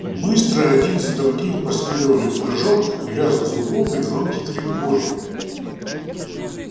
быстро один за другим последовали прыжок лязг зубов и громкий крик боли